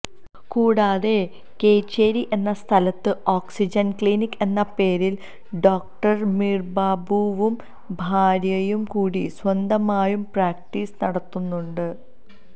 കൂടാതെ കേച്ചേരി എന്ന സ്ഥലത്ത് ഓക്സിജന്ക്ലിനിക് എന്ന പേരില് ഡോക്ടര്സമീര്ബാബുവും ഭാര്യയും കൂടി സ്വന്തമായും പ്രാക്ടീസ് നടത്തുന്നുണ്ട്